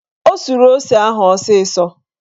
O suru ose ahụ ọsịsọ